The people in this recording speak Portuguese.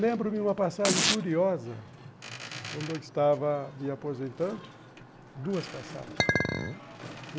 Lembro-me uma passagem curiosa, quando eu estava me aposentando, duas passagens.